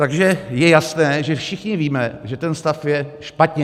Takže je jasné, že všichni víme, že ten stav je špatně.